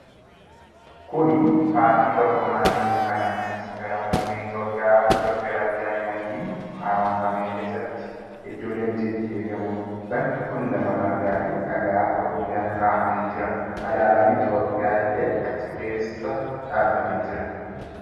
Kuni paarkii tokkummaa dhiyyeenya kana ministeera muummee Itoophiyaa Dr Abiy Ahimadiin haaromfamee keessatti iddoo leenci itti eegamudha. bakki kun lafa margaa fi dhagaa gurguddaan kaa'amee jira. Alaabaan Itoophiyaa illee achi keessa dhaabatee jira.